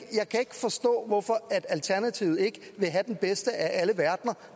forstå hvorfor alternativet ikke vil have den bedste af alle verdener